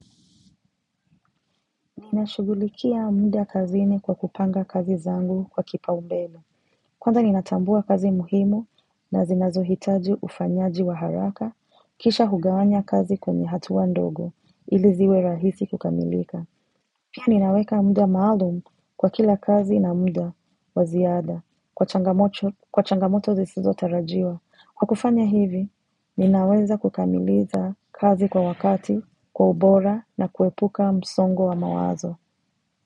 Ninashugulikia mnda kazini kwa kupanga kazi zangu kwa kipa umbele. Kwanza ninatambua kazi muhimu na zinazohitaji ufanyaji wa haraka, kisha hugawanya kazi kwenye hatua ndogo ili ziwe rahisi kukamilika. Pia ninaweka mda maalum kwa kila kazi na mda wa ziada kwa changamocho kwa changamoto zisizo tarajiwa. Kwa kufanya hivi, ninaweza kukamiliza kazi kwa wakati, kwa ubora na kuepuka msongo wa mawazo.